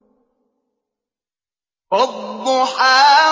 وَالضُّحَىٰ